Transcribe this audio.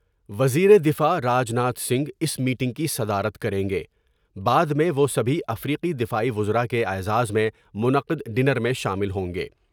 وزیر دفاع راج ناتھ سنگھ اس میٹنگ کی صدارت کر یں گے بعد میں وہ سبھی افریقی دفاعی وزراء کے اعزاز میں منعقد ڈنر میں شامل ہوں گے ۔